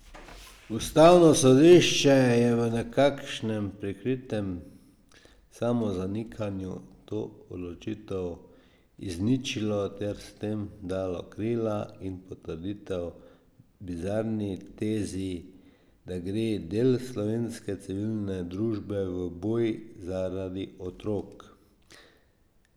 Ustavno sodišče je v nekakšnem prikritem samozanikanju to odločitev izničilo ter s tem dalo krila in potrditev bizarni tezi, da gre del slovenske civilne družbe v boj zaradi otrok.